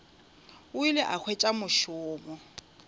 o ile a hwetša mošomo